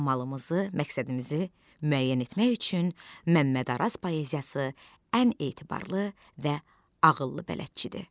Qanamızı, məqsədimizi müəyyən etmək üçün Məmməd Araz poeziyası ən etibarlı və ağıllı bələdçidir.